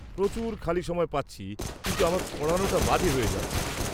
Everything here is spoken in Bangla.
-প্রচুর খালি সময় পাচ্ছি, কিন্তু আমার পড়ানোটা বাজে হয়ে যাচ্ছে।